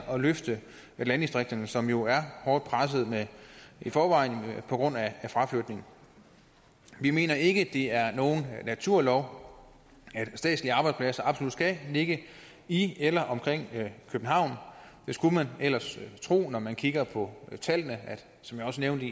at løfte landdistrikterne som jo er hårdt presset i forvejen på grund af fraflytning vi mener ikke det er nogen naturlov at statslige arbejdspladser absolut skal ligge i eller omkring københavn det skulle man ellers tro når man kigger på tallene som jeg også nævnte